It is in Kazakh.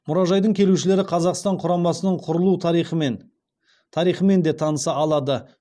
мұражайдың келушілері қазақстан құрамасының құрылу тарихымен де таныса алады